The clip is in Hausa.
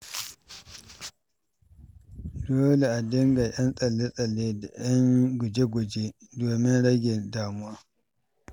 Dole a dinga 'yan tsalle-tsalle da guje-guje domin rage damuwa.